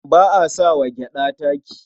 Ba a sa wa gyaɗa taki.